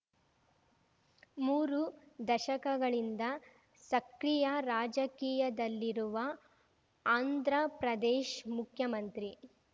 ಮೂರು ದಶಕಗಳಿಂದ ಸಕ್ರಿಯ ರಾಜಕೀಯದಲ್ಲಿರುವ ಆಂಧ್ರಪ್ರದೇಶ್ ಮುಖ್ಯಮಂತ್ರಿ